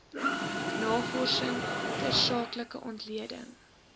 navorsing tersaaklike ontleding